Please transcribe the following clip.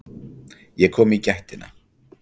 Ég kom í gættina.